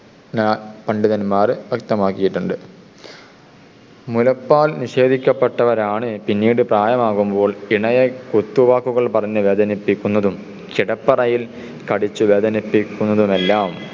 ജ്ഞപണ്ഡിതന്മാര് വ്യക്തമാക്കിയിട്ടുണ്ട്. മുലപ്പാൽ നിഷേധിക്കപ്പെട്ടവരാണ് പിന്നീട് പ്രായമാകുമ്പോൾ ഇണയെ കുത്തുവാക്കുകൾ പറഞ്ഞു വേദനിപ്പിക്കുന്നതും കിടപ്പറയിൽ കടിച്ചു വേദനിപ്പിക്കുന്നതെല്ലാം